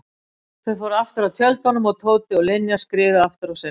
Þau fóru aftur að tjöldunum og Tóti og Linja skriðu aftur á sinn stað.